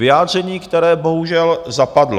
Vyjádření, které bohužel zapadlo.